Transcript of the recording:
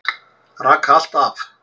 Raka allt af.